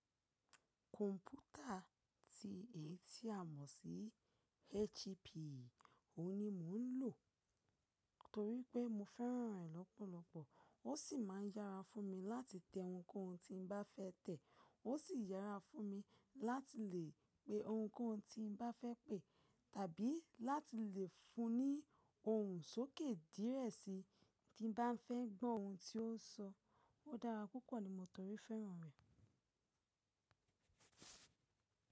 Kọ̀m̀pútà ti ètì àmọ̀ sí HP, òhun ni mò ń lò, torí pé mo fẹ́ràn ẹ̀ lọ́pọ̀lọ́pọ̀. Ó sì máa ń yára fún mi láti tẹ ohunkóhun tí n bá fẹ́ tẹ̀. Ó sì yára fún mi láti lè pe ohunkóhun tí n bá fẹ́ pè. Tàbí láti lè fun ní ohun sókè dírẹ̀ síi tí n bá fẹ́ gbọ́ ohun tí ó ń sọ. Ó dára púpọ̀ ni mọ tórí fẹ́ràn rẹ̀.